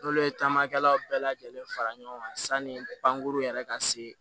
N'olu ye taamakɛlaw bɛɛ lajɛlen fara ɲɔgɔn kan sanni pankurun yɛrɛ ka se